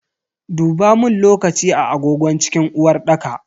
Dubamun lokaci a agogon cikin uwarɗaka.